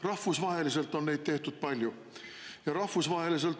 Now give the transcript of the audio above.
Rahvusvaheliselt on neid tehtud palju.